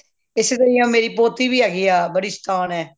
ਇਸੇ ਤਰ੍ਹਾਂ ਹੀਓਂ ਮੇਰੀ ਪੋਤੀ ਵੀ ਹੈਗੀ ਆ ਬੜੀ ਸ਼ੈਤਾਨ ਹੈਹੀਏ